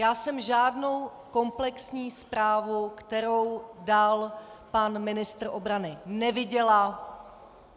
Já jsem žádnou komplexní zprávu, kterou dal pan ministr obrany, neviděla.